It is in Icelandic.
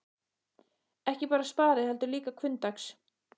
Ekki bara spari, heldur líka hvunndags.